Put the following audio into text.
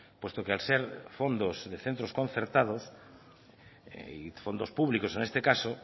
puesto que al ser fondos de centros concertados y fondos públicos en este caso